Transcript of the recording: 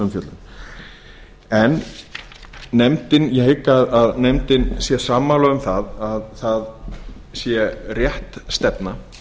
umfjöllun ég hygg að nefndin sé sammála um að það sé rétt stefna